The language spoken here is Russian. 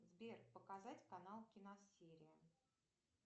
сбер показать канал киносерия